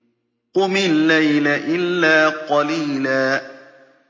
قُمِ اللَّيْلَ إِلَّا قَلِيلًا